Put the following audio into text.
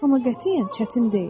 Amma qətiyyən çətin deyil.